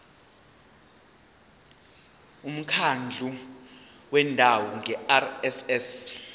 umkhandlu wendawo ngerss